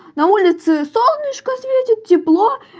на улице солнышко светит тепло